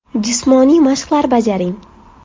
Jismoniy mashqlar bajaring.